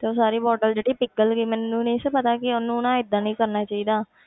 ਤੇ ਸਾਰੀ bottle ਜਿਹੜੀ ਪਿਗਲ ਗਈ, ਮੈਨੂੰ ਨੀ ਸੀ ਪਤਾ ਕਿ ਉਹਨੂੰ ਨਾ ਏਦਾਂ ਨੀ ਕਰਨਾ ਚਾਹੀਦਾ।